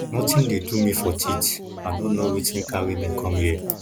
nothing dey do me for teeth i no know wetin carry me come here